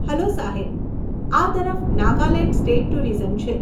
Hello સાહેબ, આ તરફ નાગાલેંડ સ્ટેટ ટુરિઝમ છે.